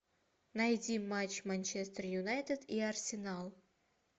найди матч манчестер юнайтед и арсенал